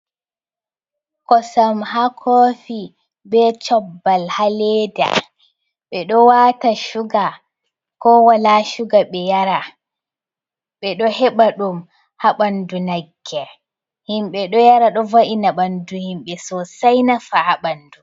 Kosam ha kofi be cobbal ha leda, ɓe ɗo wata suga ko wala suga ɓe yara, ɓe ɗo heɓa ɗum ha ɓandu nagge himɓɓe ɗo yara ɗo vo’ina ɓandu himɓɓe sosai nafa ha ɓandu.